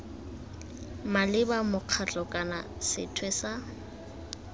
maleba mokgatlho kana sethwe sa